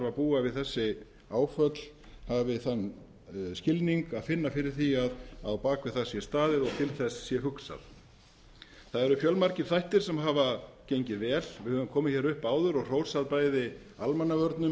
að búa við þessi áföll hafi þann skilning að finna fyrir því að á bak við það sé staðið og til þess sé hugsað það eru fjölmargir þættir sem hafa gengið vel við höfum komið upp áður og hrósað bæði almannavörnum